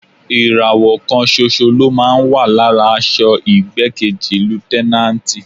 Ìràwọ̀ kan ṣoṣo ló máa ń wà lára aṣọ igbákejì Lútẹ́náǹtì.